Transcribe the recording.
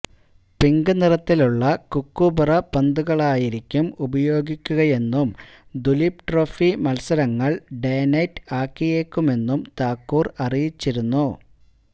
pink നിറത്തിലുള്ള Kookaburra പന്തുകളായിരിക്കും ഉപയോഗിക്കുകയെന്നും ദുലീപ് ട്രോഫി മത്സരങ്ങൾ ഡേ നൈറ്റ് ആക്കിയേക്കുമെന്നും താക്കൂർ അറിയിച്ചിരുന്നു